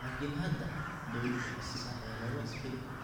Laakiin hadda, dawladdu waxay siinaysaa xeelado ay isbeddel ku keenaan.